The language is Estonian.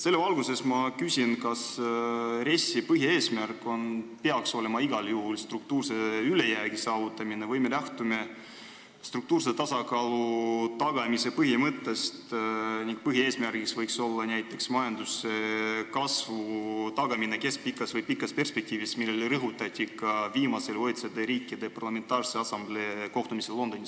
Selles valguses ma küsin, kas RES-i põhieesmärk peaks olema igal juhul struktuurse ülejäägi saavutamine või me lähtume struktuurse tasakaalu tagamise põhimõttest ning põhieesmärgiks võiks olla näiteks majanduskasvu tagamine keskpikas või pikas perspektiivis, mida rõhutati ka viimasel OECD riikide parlamentaarse assamblee kohtumisel Londonis.